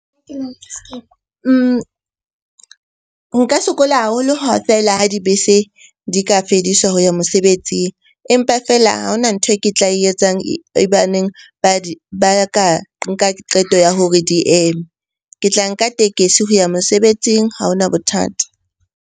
Nka sokola haholo ha feela ha dibese di ka fediswa ho ya mosebetsing. Empa feela ha hona ntho e ke tla e etsang e ba neng ba ka nka qeto ya hore di eme. Ke tla nka tekesi ho ya mosebetsing. Ha hona bothata.